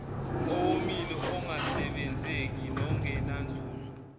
owomile ongasebenzeki nongenanzuzo